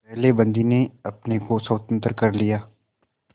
पहले बंदी ने अपने को स्वतंत्र कर लिया